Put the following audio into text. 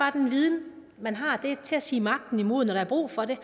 at den viden man har er til at sige magten imod når der er brug for det